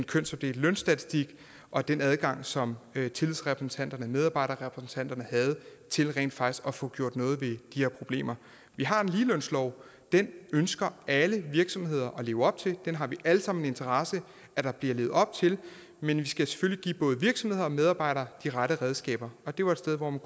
kønsopdelte lønstatistik og den adgang som tillidsrepræsentanterne medarbejderrepræsentanterne havde til rent faktisk at få gjort noget ved de her problemer vi har en ligelønslov den ønsker alle virksomheder at leve op til den har vi alle sammen interesse i at der bliver levet op til men vi skal selvfølgelig give både virksomheder og medarbejdere de rette redskaber det var et sted hvor man